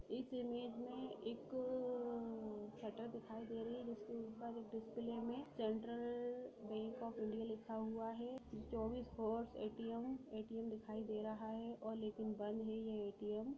इस इमेज में एक अ-अ शटर दिखाई दे रही है जिसके ऊपर एक डिसप्ले में सेंट्रल बैंक ऑफ इंडिया लिखा हुआ है चौबीस हावरस ए_टी_एम एट_टी_एम दिखाई दे रहा है और लेकिन बंद है ये ए_टी_एम |